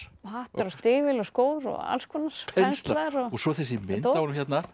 hattar og stígvél og skór og alls konar penslar og svo þessi mynd af honum